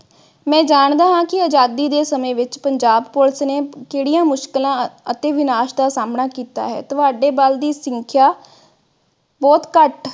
ਮੈਂ ਜਾਣਦਾ ਹਾਂ ਕਿ ਅਜਾਦੀ ਦੇ ਸਮੇ ਵਿਚ ਪੰਜਾਬ police ਨੇ ਜਿਹੜੀਆਂ ਮੁਸ਼ਕਿਲ ਅਤੇ ਵਿਨਾਸ਼ ਦਾ ਸਾਮਣਾ ਕੀਤਾ ਹੈ ਤੁਹਾਡੇ ਬਲ ਦੀ ਸੰਖਿਆ ਬੁਹਤ ਘਟ